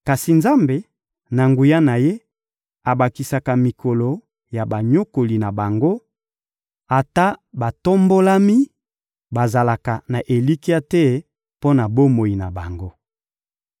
Kasi Nzambe, na nguya na Ye, abakisaka mikolo ya banyokoli na bango; ata batombolami, bazalaka na elikya te mpo na bomoi na bango.